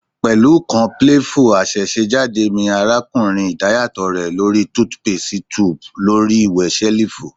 Pẹlu kan playful asesejade mi arakunrin idayatọ rẹ lo ri toothpaste tube lori wẹ selifu